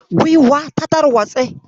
Guiwar ta tarwatse.